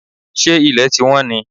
Ṣé ilẹ̀ ti wọ́n ni?